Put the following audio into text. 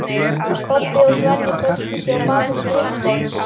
Kobbi og Svenni földu sig á bak við skrifborð.